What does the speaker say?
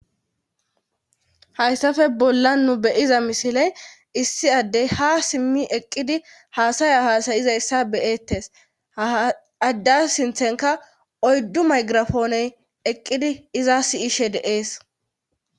hayssafe bollan nu be'iza misiley issi addey ha simmi eqqidi haasaya haasayizayssa be'ettes addas sinthenka oyddu maygirafooney eqqidi iza si'she de'es